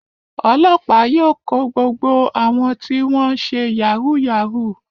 Ọlọ́pàá yóò kó gbogbo àwọn tí wọ́n ṣe yahoo yahoo.